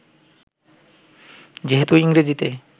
যেহেতু ইংরেজিতে